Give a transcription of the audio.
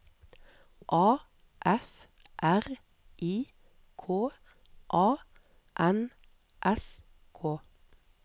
A F R I K A N S K